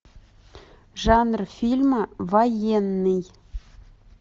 жанр фильма военный